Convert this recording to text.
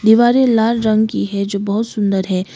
दीवारे लाल रंग की है जो बहोत सुंदर है।